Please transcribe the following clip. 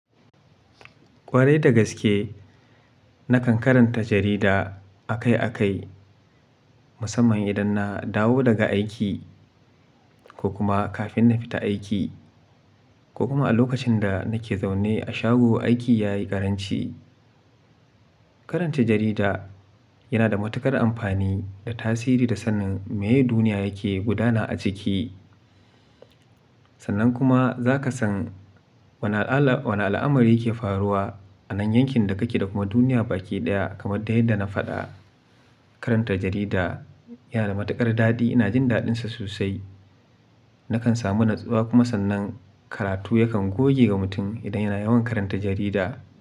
Kwarai da gaske, nakan karanta jarida akai akai, musamman idan na dawo daga aiki ko kuma kafin na fita aiki ko kuma a lokacin da nake zaune a shago aiki ya yi ƙaranci. Karanta jarida yana da matuƙar amfani da tasiri da sanin meye duniya yake gudana a ciki. Sannan kuma za ka san wane al'amari yake faruwa a nan yankin da kake da kuma duniya baki ɗaya. Kamar dai yadda na faɗa, karanta jarida yana da matuƙar daɗi. Ina jin daɗinsa sosai. Nakan samu natsuwa kuma sannan karatu yakan goge wa mutum idan yana yawan karanta jarida.